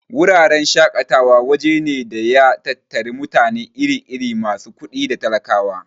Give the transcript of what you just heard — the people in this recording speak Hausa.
Wuraren shaƙatawa waje ne da ya tattari mutane iri-iri, masu kuɗi da talakawa.